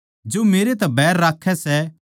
जो मेरै तै बैर राक्खै सै वो मेरै पिता तै भी बैर राक्खै सै